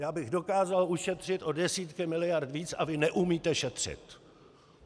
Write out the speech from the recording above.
Já bych dokázal ušetřit o desítky miliard víc a vy neumíte šetřit.